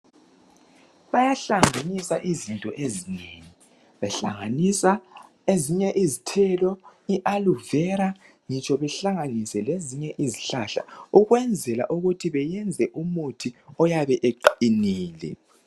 Bayihlanganisa izinto ezinengi, behlanganisa ezinye izithelo, i Aloe Vera ngitsho lezinye izihlahla beyenza umuthi oyabe uqinile.